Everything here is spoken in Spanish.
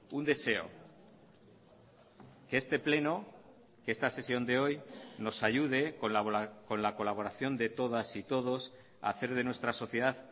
un deseo que este pleno que esta sesión de hoy nos ayude con la colaboración de todas y todos a hacer de nuestra sociedad